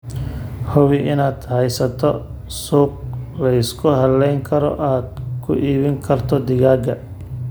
Hubi inaad haysato suuq la isku halayn karo oo aad ku iibin karto digaaggaaga.